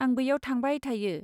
आं बैयाव थांबाय थायो।